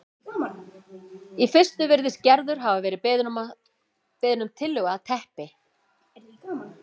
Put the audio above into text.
Í fyrstu virðist Gerður hafa verið beðin um tillögu að teppi